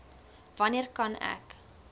wanneer kan ek